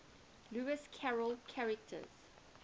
lewis carroll characters